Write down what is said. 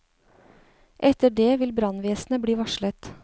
Etter det vil brannvesenet bli varslet.